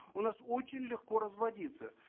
у нас очень легко разводиться